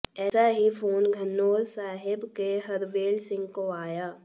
ऐसा ही फोन घनौर साहिब के हरवेल सिंह को आया